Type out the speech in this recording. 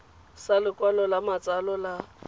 sa lokwalo la matsalo la